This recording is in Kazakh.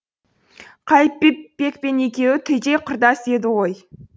қайыпбек пен екеуі түйдей құрдас еді ғой